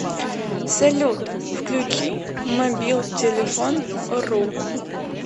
салют включи мобилтелефон ру